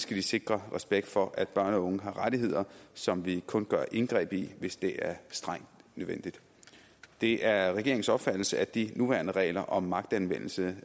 de sikre respekt for at børn og unge har rettigheder som vi kun gør indgreb i hvis det er strengt nødvendigt det er regeringens opfattelse at de nuværende regler om magtanvendelse